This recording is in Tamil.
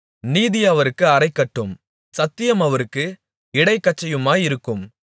நீதி அவருக்கு அரைக்கட்டும் சத்தியம் அவருக்கு இடைக்கச்சையுமாயிருக்கும்